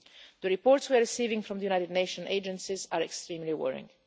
The reports we are receiving from the United Nations agencies are extremely worrying.